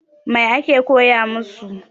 Mai ake koya masu?